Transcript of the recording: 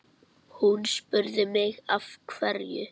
Hún spurði mig af hverju?